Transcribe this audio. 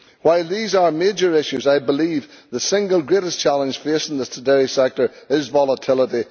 While these are major issues, I believe the single greatest challenge facing the dairy sector is volatility.